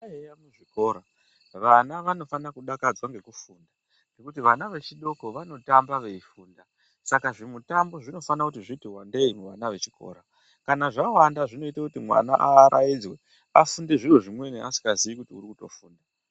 Muzvikora vana vanofanira kudakadzwa ngekufunda ngekuti vana vadoko vanotamba veifunda, saka zvimitambo zvinofana kuti zviti wandei muvana vechikora, kana zvawanda zvinoita mwana aaraidzwe afunge zviro zvimweni asingazii kuti urikutofunda.